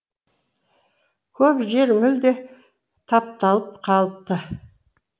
көп жер мүлде тапталып қалыпты